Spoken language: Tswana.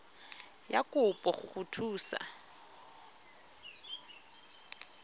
ya kopo go go thusa